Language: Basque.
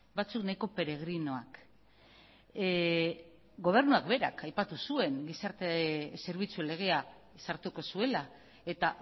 batzuk nahiko peregrinoak gobernuak berak aipatu zuen gizarte zerbitzu legea sartuko zuela eta